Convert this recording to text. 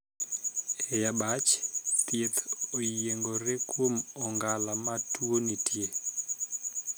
E abach, thieth oyiengore kuom ong'ala ma tuo nitie.